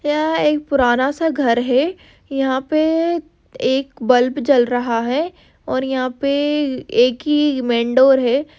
यह एक पुराना सा घर है। यहा पे एक बल्ब जल रहा है। और यहा पे एक ही मेन डोर है।